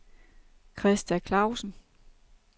Christa Clausen